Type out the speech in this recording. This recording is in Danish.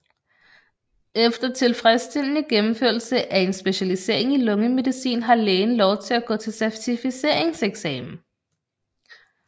Efter tilfredsstillende gennemførelse af en specialisering i lungemedicin har lægen lov til at gå til certificeringseksamen